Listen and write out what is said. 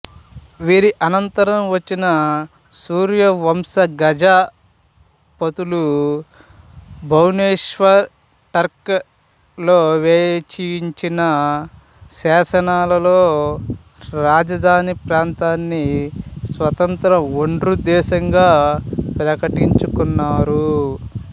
వీరి అనంతరం వచ్చిన సూర్యవంశ గజపతులు భువనేశ్వర్కటక్ లలో వేయించిన శాసనాలలో రాజధాని ప్రాంతాన్నిస్వతంత్ర ఓఢ్ర దేశంగా ప్రకటించుకున్నారు